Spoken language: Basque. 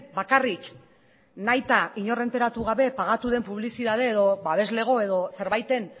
bakarrik nahita inor enteratu gabe pagatu den publizitate edo babeslego edo zerbaiten